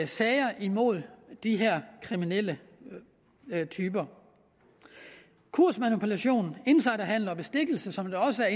sager imod de her kriminelle typer kursmanipulation insiderhandel og bestikkelse som også er